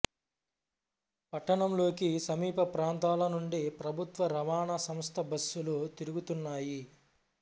పట్టణంలోకి సమీప ప్రాంతాల నుండి ప్రభుత్వ రవాణా సంస్థ బస్సులు తిరుగుతున్నాయి